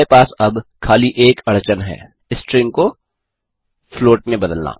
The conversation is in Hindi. हमारे पास अब खाली एक अड़चन है स्ट्रिंग को फ्लॉट में बदलना